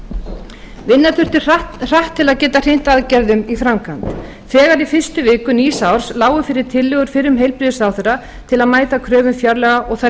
vinna þurfti hratt til að geta hrint aðgerðum í framkvæmd þegar í fyrstu viku nýs árs lágu fyrir tillögur fyrrum heilbrigðisráðherra til að mæta kröfum fjárlaga og þær